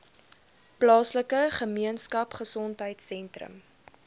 plaaslike gemeenskapgesondheid sentrum